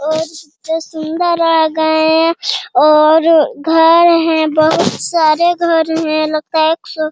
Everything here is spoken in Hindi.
और जो सुंदर रह गए हैं और घर हैं बहुत सारे घर हैं लगता है एक सौ --